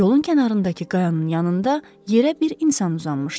Yolun kənarındakı qayanın yanında yerə bir insan uzanmışdı.